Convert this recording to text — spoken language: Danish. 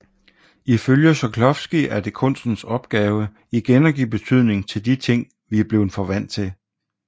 Ifølge Shklovsky er det kunstens opgave igen at give betydning til de ting vi er blevet for vant til